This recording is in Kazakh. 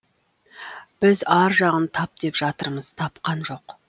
біз ар жағын тап деп жатырмыз тапқан жоқ